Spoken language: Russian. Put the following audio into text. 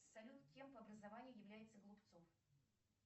салют кем по образованию является голубцов